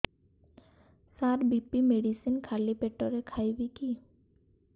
ସାର BP medicine ଖାଲି ପେଟରେ ଖାଇବି କି